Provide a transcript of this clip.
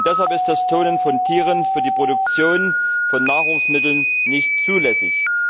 Und deshalb ist das Klonen von Tieren für die Produktion von Nahrungsmitteln nicht zulässig.